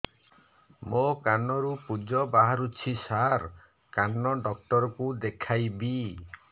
ମୋ କାନରୁ ପୁଜ ବାହାରୁଛି ସାର କାନ ଡକ୍ଟର କୁ ଦେଖାଇବି